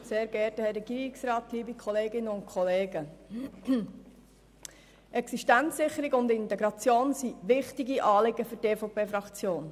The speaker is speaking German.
Existenzsicherung und Integration sind wichtige Anliegen für die EVPFraktion.